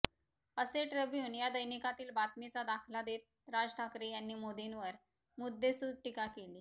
असे ट्रब्यून या दैनिकातील बातमीचा दाखला देत राज ठाकरे यांनी मोदींवर मुद्देसूद टीका केली